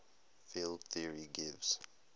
field theory gives